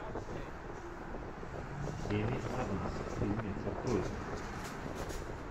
эми адамс фильмец открой мне